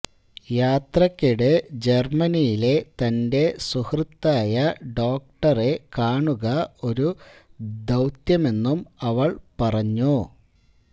യാത്രക്കിടെ ജർമനിയിലെ തന്റെ സുഹൃത്തായ ഡോക്ടറെ കാണുക ഒരു ദൌത്യമെന്നും അവൾ പറഞ്ഞു